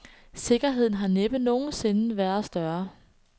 Sikkerheden har næppe nogen sinde været større.